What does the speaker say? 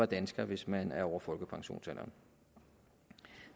dansker hvis man er over folkepensionsalderen